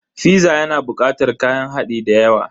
Fiza yana bukatar kayan hadi dayawa.